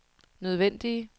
nødvendige